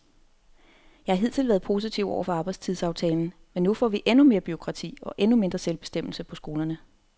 Jeg har hidtil været positiv over for arbejdstidsaftalen, men nu får vi endnu mere bureaukrati og endnu mindre selvbestemmelse på skolerne.